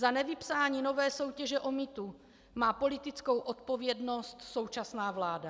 Za nevypsání nové soutěže o mýtu má politickou odpovědnost současná vláda.